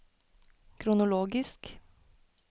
kronologisk